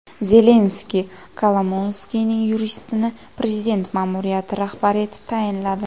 Zelenskiy Kolomoyskiyning yuristini prezident ma’muriyati rahbari etib tayinladi.